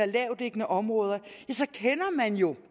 lavtliggende område så kender man jo